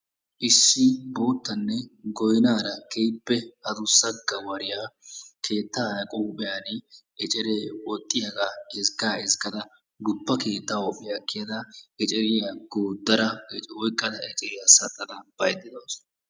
Issi guuttanne goynnaara keehippe addussa gawariya keettaa huuphiyaara ecceree woxxiyaaga ezgga ezggaada guppa keettaa huuhpiya kiyada eceeriyaa goodada oyqqada eceeriya saxxada baydda dawusu.